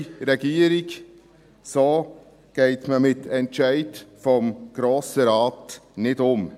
Liebe Regierung, so geht man mit Entscheiden des Grossen Rates nicht um.